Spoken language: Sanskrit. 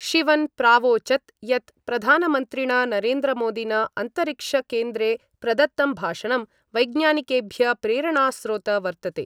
शिवन प्रावोचत् यत् प्रधानमन्त्रिण नरेन्द्रमोदिन अन्तरिक्षकेन्द्रे प्रदत्तं भाषणं वैज्ञानिकेभ्य प्रेरणास्रोत वर्तते।